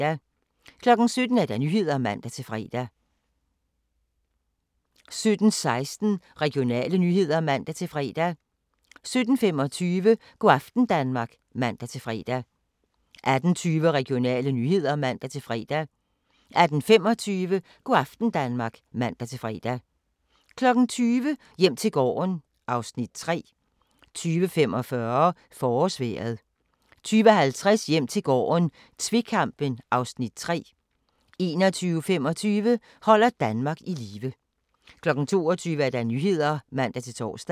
17:00: Nyhederne (man-fre) 17:16: Regionale nyheder (man-fre) 17:25: Go' aften Danmark (man-fre) 18:20: Regionale nyheder (man-fre) 18:25: Go' aften Danmark (man-fre) 20:00: Hjem til gården (Afs. 3) 20:45: Forårsvejret 20:50: Hjem til gården - tvekampen (Afs. 3) 21:25: Holder Danmark i live 22:00: Nyhederne (man-tor)